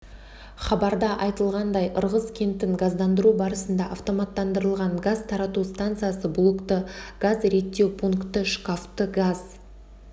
хабарда айтылғандай ырғыз кентін газдандыру барысында автоматтандырылған газ тарату станциясы блокты газ реттеу пункті шкафты газ